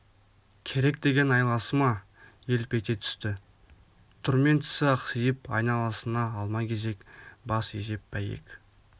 керек деген айласы ма елп ете түсті түрмен тісі ақсиып айналасына алма-кезек бас изеп бәйек